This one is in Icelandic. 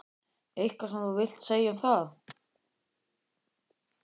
Eitthvað sem þú vilt segja um það?